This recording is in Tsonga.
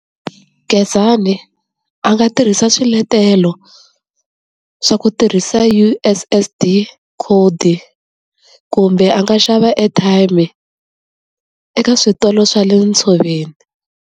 Gezani a nga tirhisa swiletelo swa ku tirhisa U_S_S_D code kumbe a nga xava airtime eka switolo swa le ntshoveni.